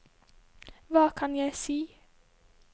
hva kan jeg si